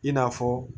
I n'a fɔ